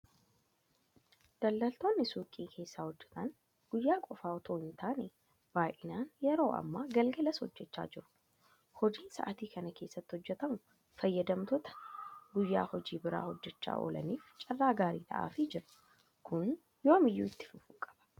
Daldaltoonni Suuqii keessaa hojjetan guyyaa qofa itoo hintaane baay'inaan yeroo ammaa galgalas hojjechaa jiru. Hojiin sa'aatii kana keessa hojjetamu fayyadamtoota guyya hojii biraa hojjechaa oolaniif carraa gaarii ta'aafii jira. Kun yoomiyyuu itti fufuu qaba.